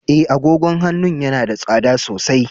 E, agogon hannun yana da tsada sosai.